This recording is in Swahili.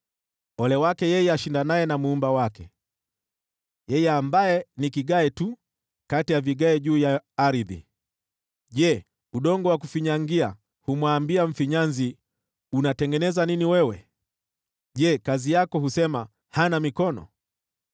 “Ole wake yeye ashindanaye na Muumba wake, yeye ambaye ni kigae tu kati ya vigae juu ya ardhi. Je, udongo wa kufinyangia humwambia mfinyanzi, ‘Unatengeneza nini wewe?’ Je, kazi yako husema, ‘Hana mikono’?